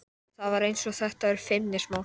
Ég veit að þetta er óafsakanlegt, sagði hún.